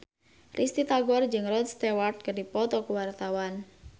Risty Tagor jeung Rod Stewart keur dipoto ku wartawan